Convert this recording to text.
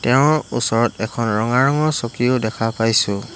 তেওঁৰ ওচৰত এখন ৰঙা ৰঙৰ চকীও দেখা পাইছোঁ।